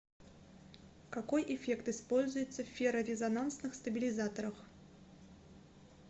какой эффект используется в феррорезонансных стабилизаторах